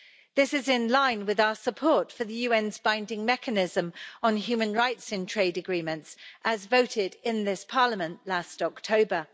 This is in line with our support for the UN's binding mechanism on human rights in trade agreements, as voted in this Parliament last October.